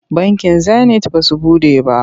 Bankin Zenit ba su buɗe ba.